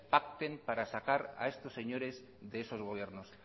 pacten para sacar a estos señores de esos gobiernos